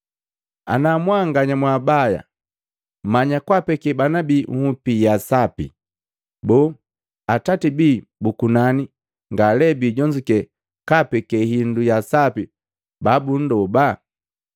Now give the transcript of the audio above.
Ana mwanganya mwabaya mmanya kwaapeke bana bii nhupi ya sapi, boo Atati bii bu kunani ngalee biijonzuke kaapeke hindu ya sapi babunndoba?